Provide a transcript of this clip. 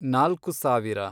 ನಾಲ್ಕು ಸಾವಿರ